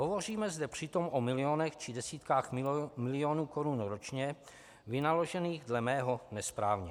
Hovoříme zde přitom o milionech či desítkách milionů korun ročně, vynaložených dle mého nesprávně.